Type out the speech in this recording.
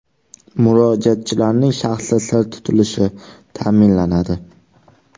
Murojaatchilarning shaxsi sir tutilishi ta’minlanadi.